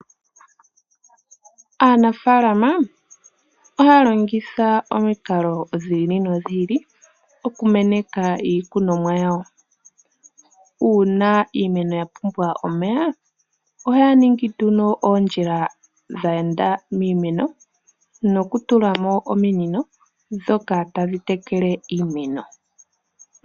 Aanafalama ohaya longitha omikalo dhi ili nodhi ili okumeneka iikunomwa yawo. Uuna iimeno ya pumbwa omeya, ohaya ningi oondjila dhe enda miimeno nokutula mo ominino ndhoka tadhi tekele iimeno.